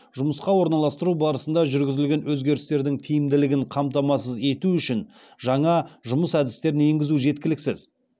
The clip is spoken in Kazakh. жұмысқа орналастыру барысында жүргізілген өзгерістердің тиімділігін қамтамасыз ету үшін жаңа жұмыс әдістерін енгізу жеткіліксіз